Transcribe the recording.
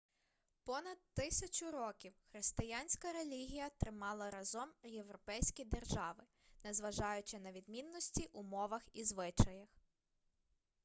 понад тисячу років християнська релігія тримала разом європейські держави незважаючи на відмінності у мовах і звичаях